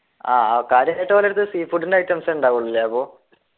ആഹ് ആൾക്കാര് ഒരെടുത്ത് sea food ൻ്റെ items എ ഉണ്ടാവുള്ളു ല്ലേ അപ്പൊ